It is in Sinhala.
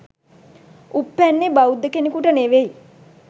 උප්පැන්නේ බෞද්ධ කෙනෙකුට නෙවෙයි